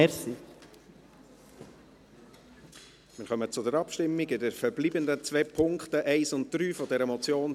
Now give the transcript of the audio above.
Wir kommen zur Abstimmung über die verbleibenden zwei Punkte 1 und 3 dieser Motion.